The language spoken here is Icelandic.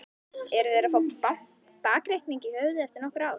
Eru þeir að fá bakreikning í höfuðið eftir nokkur ár?